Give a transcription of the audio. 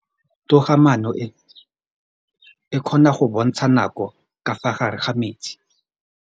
Toga-maanô e, e kgona go bontsha nakô ka fa gare ga metsi.